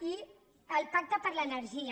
i el pacte per l’energia